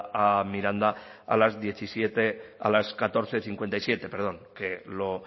a miranda a las diecisiete a las catorce cincuenta y siete perdón que lo